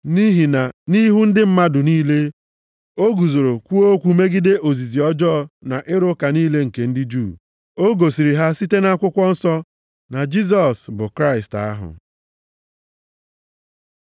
Nʼihi na nʼihu ndị mmadụ niile, o guzoro kwuo okwu megide ozizi ọjọọ na ịrụ ụka niile nke ndị Juu. O gosiri ha site nʼakwụkwọ nsọ na Jisọs bụ Kraịst ahụ.